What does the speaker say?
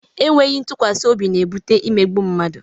E nweghi ntụkwasị obi na-ebute imegbu mmadụ.